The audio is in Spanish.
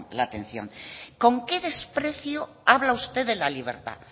la atención con qué desprecio habla usted de la libertad